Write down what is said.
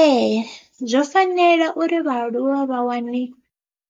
Ee zwo fanela uri vhaaluwa vha wane